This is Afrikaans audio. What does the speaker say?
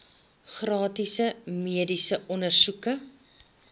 gratis mediese ondersoeke